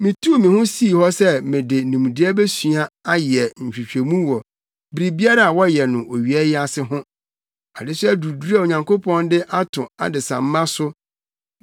Mituu me ho sii hɔ sɛ mede nimdeɛ besua ayɛ nhwehwɛmu wɔ biribiara a wɔyɛ no owia yi ase ho. Adesoa duruduru a Onyankopɔn de ato adesamma so!